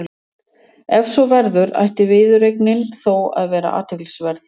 Ef svo verður ætti viðureignin þó að vera athyglisverð.